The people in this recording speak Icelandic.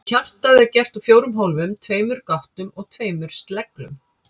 Hjartað er gert úr fjórum hólfum, tveimur gáttum og tveimur sleglum.